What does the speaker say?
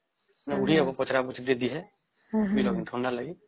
ନାଇଁ ଘୋଡ଼ି ହବ ପଚରା ପଚରି ହେ ଯଦି ଥଣ୍ଡା ଲାଗେ